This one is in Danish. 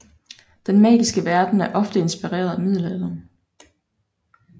Den magiske verden er oftest inspireret af middelalderen